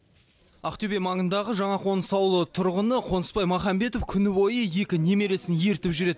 ақтөбе маңындағы жаңақоныс ауылының тұрғыны қонысбай махамбетов күні бойы екі немересін ертіп жүреді